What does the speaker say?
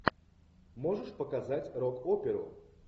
можешь показать рок оперу